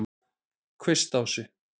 Kvistási